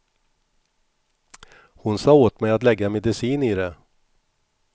Hon sade åt mig att lägga medicin i det.